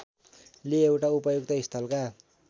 ले एउटा उपयुक्त स्थलका